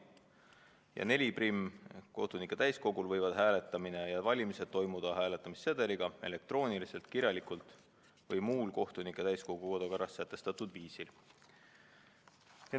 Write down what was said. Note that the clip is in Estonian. " Ja lõikega 41: "Kohtunike täiskogul võivad hääletamine ja valimised toimuda hääletamissedeliga, elektrooniliselt, kirjalikult või muul kohtunike täiskogu kodukorras sätestatud viisil.